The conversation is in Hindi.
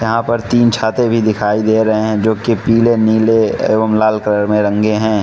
यहां पर तीन छाते भी दिखाई दे रहे हैं जो की पीले नीले एवं लाल कलर में रंगे हैं।